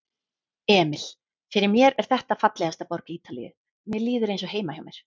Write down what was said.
Emil: Fyrir mér er þetta fallegasta borg Ítalíu, mér líður eins og heima hjá mér.